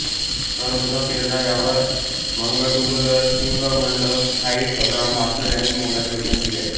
सर्वप्रथम प्रेरणा यावर मॅगडुगलसिगमंड फ्राईड अब्राहम मास्लो यांनी मोलाचे योगदान दिले आहे